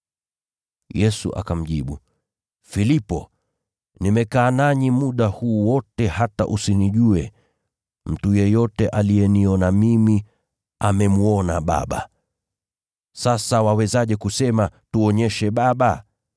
Yesu akamjibu, “Filipo, nimekaa nanyi muda huu wote hata usinijue? Mtu yeyote aliyeniona mimi, amemwona Baba. Sasa wawezaje kusema, ‘Tuonyeshe Baba’?